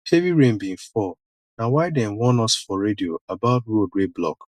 heavy rain bin fall na why dem warn us for radio about road wey block